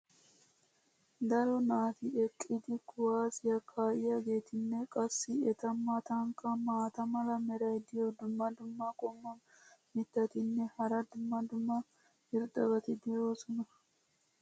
daro naati eqqidi kuwaassiyaa kaa'iyaageetinne qassi eta matankka maata mala meray diyo dumma dumma qommo mitattinne hara dumma dumma irxxabati de'oosona.